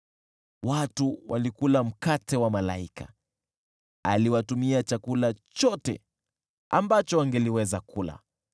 Watu walikula mkate wa malaika, akawatumia chakula chote ambacho wangeliweza kula.